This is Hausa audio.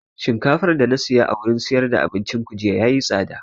Shinkafar da na siya a wurin siyar da abincin ku jiya yayi tsada